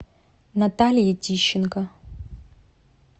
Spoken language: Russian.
наталье тищенко